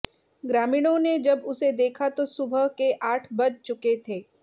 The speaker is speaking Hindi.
ग्रामीणों ने जब उसे देखा तो सुबह के आठ बज चुके थे